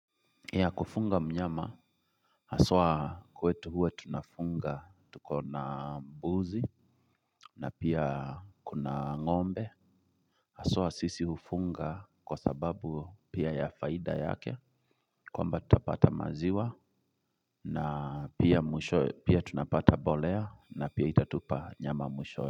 Ya kufunga mnyama haswa kwetu huwa tunafunga tuko na mbuzi na pia kuna ng'ombe haswa sisi hufunga kwa sababu pia ya faida yake kwamba tutapata maziwa na pia mwishowe pia tunapata mbolea na pia itatupa nyama mwishowe.